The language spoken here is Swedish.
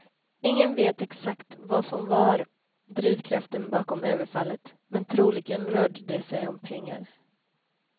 Ingen vet exakt vad som var drivkraften bakom överfallet, men troligen rörde det sig om pengar.